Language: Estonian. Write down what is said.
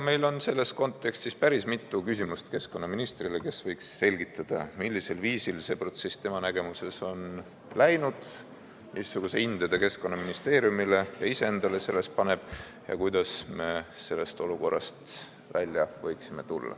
Meil on selles kontekstis päris mitu küsimust keskkonnaministrile, kes võiks selgitada, millisel viisil see protsess tema nägemuses on läinud, missuguse hinde ta Keskkonnaministeeriumile ja iseendale selles paneb ja kuidas me sellest olukorrast välja võiksime tulla.